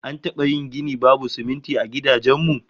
An taba yin gini babu sumunti a gidajen mu?